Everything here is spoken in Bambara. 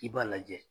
I b'a lajɛ